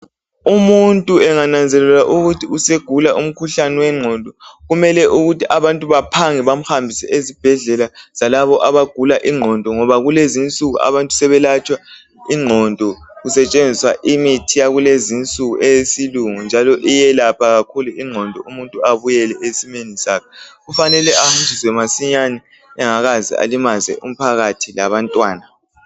Umuntu engananzelela ukuthi usegula umkhuhlane wengqondo kumele ukuthi abantu baphange bamhambise ezibhedlela zalabo abagula ingqondo ngoba kulezinsuku abantu sebelatshwa inqondo kusetshenziswa imithi yakulezi insuku eyesilungu njalo iyelapha kakhulu ingqondo umuntu abuyele esimeni sakhe kufanele aze masinyane engakaze alimaze umphakathi labantwana